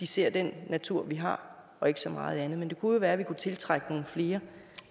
se den natur vi har og ikke så meget andet men det kunne jo være at vi kunne tiltrække nogle flere